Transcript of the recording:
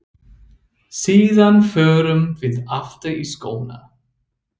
Síðan förum við aftur í skóna.